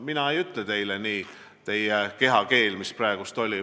Mina ei ütle teile seda, mida teie kehakeel praegu väljendas.